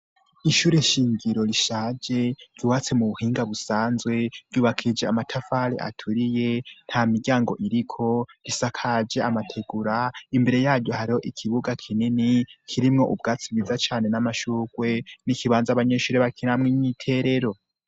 Ishure shingiro rishaje ryuwatse mu buhinga busanzwe ryubakishije amatafari aturiye, nta miryango iriko, isakaje amategura, imbere yaryo hariho ikibuga kinini kirimwo ubwatsi bwiza cane n'amashurwe, n'ikibanza abanyeshure bakinamwo imyiterero.